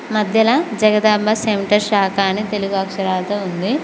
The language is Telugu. మధ్యలో జగదాంబ సెంటర్ శాఖా అని తెలుగు అక్షరాలతో ఉంది.